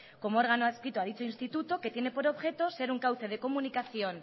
como órgano adscrito a dicho instituto que tiene por objeto ser un cauce de comunicación